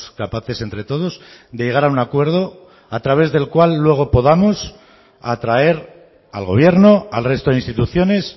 capaces entre todos de llegar a un acuerdo a través del cual luego podamos atraer al gobierno al resto de instituciones